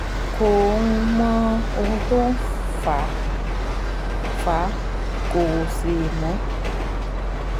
Kò um mọ ohun tó ń fà ń fà á, kò sì mọ̀